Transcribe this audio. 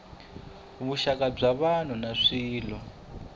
vuxaka bya vanhu na swilo